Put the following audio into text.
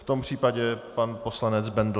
V tom případě pan poslanec Bendl.